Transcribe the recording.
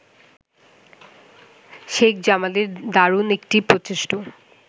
শেখ জামালের দারুণ একটি প্রচেষ্ট